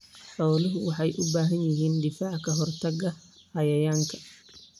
Xooluhu waxay u baahan yihiin difaac ka hortagga cayayaanka.